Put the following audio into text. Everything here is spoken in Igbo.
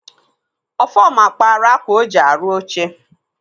Ọfọma kpaara akwa o ji arụ oche.